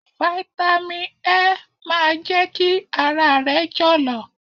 Fáítámì E máa jẹ́ kí ara rẹ jọ̀lọ̀.